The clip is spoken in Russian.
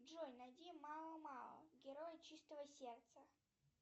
джой найди мао мао герой чистого сердца